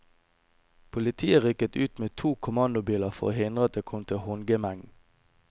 Politiet rykket ut med to kommandobiler for å hindre at det kom til håndgemeng.